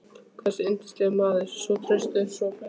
hversu yndislegur maður, svo traustur, svo blíður.